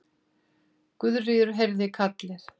Guðríður heyrði kallið.